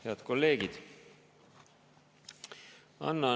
Head kolleegid!